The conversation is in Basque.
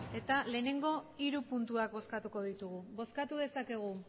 eta lehenengo hiru puntuak bozkatuko ditugu bozkatu dezakegu